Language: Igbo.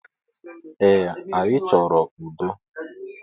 Ee, anyi chọrọ udo